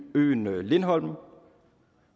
øen lindholm